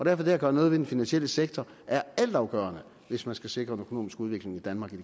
er det at gøre noget ved den finansielle sektor altafgørende hvis man skal sikre den økonomiske udvikling i danmark